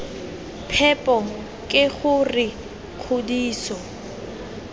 phepo k g r kgodiso